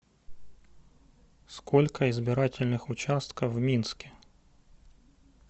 сколько избирательных участков в минске